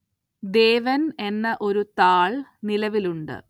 ദേവന്‍ എന്ന ഒരു താള്‍ നിലവിലുണ്ട്